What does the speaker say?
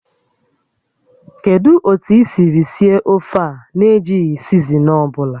Kedu otu i siri sie ofe a na-ejighị sizinin ọ bụla?